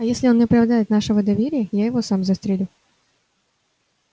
а если он не оправдает нашего доверия я его сам застрелю